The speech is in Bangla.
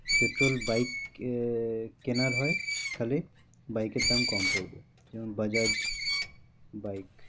Petrol, bike আহ কেনার হয় তা হলে bike এর দাম কম পড়বে যেমন বাজাজ bike